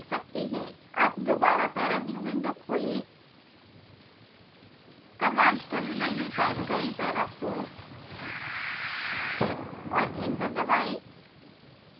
अब दोबारा ParaView window खोलें कमांड टर्मिनल में टाइप करें parafoam और एंटर दबाएं